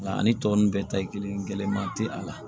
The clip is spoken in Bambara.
Nka ani tɔ ninnu bɛɛ ta ye kelen ye gɛlɛyama tɛ a la